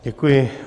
Děkuji.